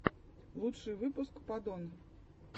лучший выпуск падон